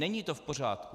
Není to v pořádku.